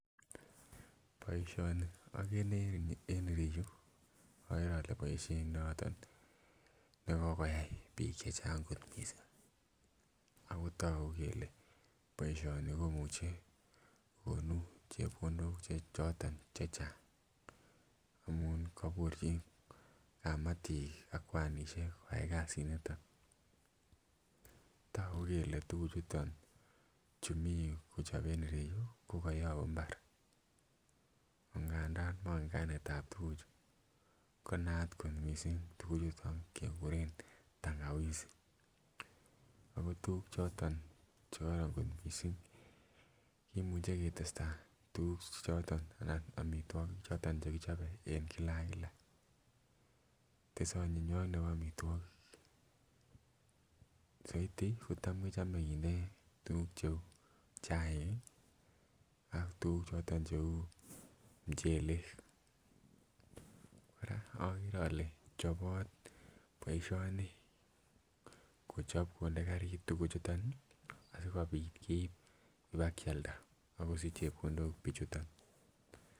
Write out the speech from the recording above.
Boishoni okere en ireyuu okere ole boishet noton nekokoyai bik chechang kotmissing ako tokuk kele boishoni komuche konu chepkondok choton che Chang amun koburchin kamatik an kwanishek koyai kasit niton. Toku kele tukuchuton chu Mii yuu kochoben en ireyuu ko koyobu imbara ankandan monken kainetab tukuchu konaat ko missing tukuchuton kekuren tankawisi ako tukuk choton chekoron kot missing kimuche ketestai tukuk choton anan omitwokik choton chekichobe en kila ak kila tese onyinywoki nebo omitwokik . Soiti kotam Kechome kinde tukuk cheu chaik kii ak tukuk choton cheu muchele Koraa okere ole chobot boishoni kochob konde karit tukuchuton nii asikopit keib kobakialda ak kosich chepkondok bichuton.